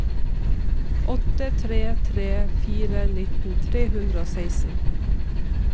åtte tre tre fire nitten tre hundre og seksten